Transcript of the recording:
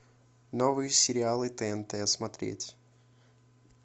новые сериалы тнт смотреть